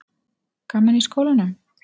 Gaman í skólanum?